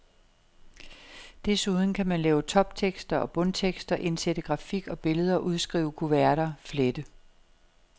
Desuden kan man lave toptekster og bundtekster, indsætte grafik og billeder, udskrive kuverter, flette.